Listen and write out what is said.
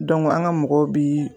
an ka mɔgɔ bi.